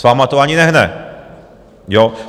S vámi to ani nehne, jo?